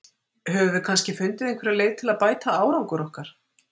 Höfum við kannski fundið einhverja leið til að bæta árangur okkar?